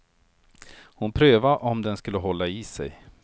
Hon prövade om den skulle hålla i sig.